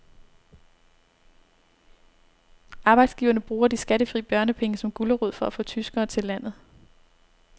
Arbejdsgiverne bruger de skattefri børnepenge som gulerod for at få tyskere til landet.